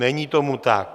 Není tomu tak.